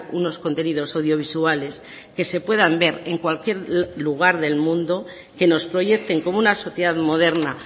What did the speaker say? unos contenidos audiovisuales que se puedan ver en cualquier lugar del mundo que nos proyecten como una sociedad moderna